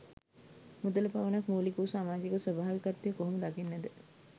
මුදල පමණක් මුලික වූ සමාජයක ස්වභාවිකත්වය කොහොම දකින්නද?